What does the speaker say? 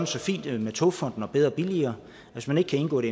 så fint med togfonden dk og bedre og billigere at hvis man ikke kan indgå en